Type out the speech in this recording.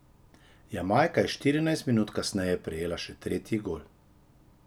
Jamajka je štirinajst minut kasneje prejela še tretji gol.